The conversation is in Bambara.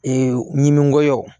ɲiminko